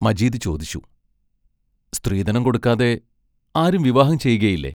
മജീദ് ചോദിച്ചു: സ്ത്രീധനം കൊടുക്കാതെ ആരും വിവാഹം ചെയ്യുകയില്ലേ?